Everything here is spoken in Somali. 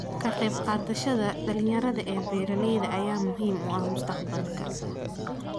Ka qaybqaadashada dhalinyarada ee beeralayda ayaa muhiim u ah mustaqbalka.